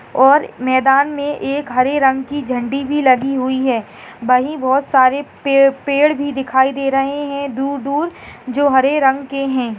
और मैदान में एक हरे रंग की झंडी भी लगी हुई है वही बहुत सारे पे- पेड़ भी दिखाई दे रहे है दूर-दूर जो हरे रंग के है।